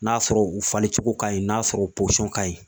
N'a sɔrɔ u falen cogo ka ɲi, n'a sɔrɔ ka ɲi .